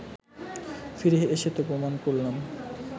ফিরে এসে তো প্রমাণ করলাম